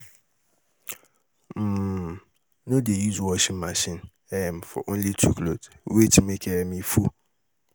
um No dey use washing machine um for only two cloth, wait make um e full.